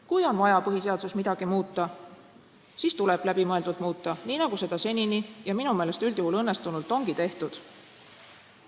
Kui on vaja põhiseaduses midagi muuta, siis tuleb läbimõeldult muuta, nii nagu seda senini – minu meelest üldjuhul õnnestunult – ongi tehtud.